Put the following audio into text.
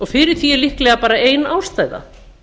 fyrir því er líklega bara ein ástæða